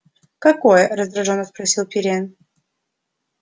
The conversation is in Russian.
какое раздражённо спросил пиренн